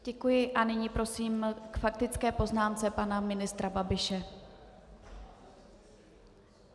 Děkuji a nyní prosím k faktické poznámce pana ministra Babiše.